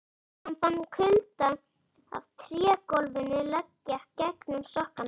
Hann fann kuldann af trégólfinu leggja gegnum sokkana.